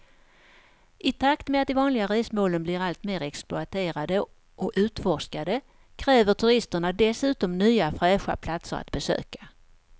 I takt med att de vanliga resmålen blir allt mer exploaterade och utforskade kräver turisterna dessutom nya fräscha platser att besöka.